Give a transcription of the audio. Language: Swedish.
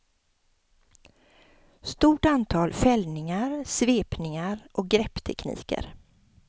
Stort antal fällningar, svepningar och grepptekniker.